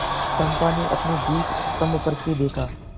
चंपा ने अपने दीपस्तंभ पर से देखा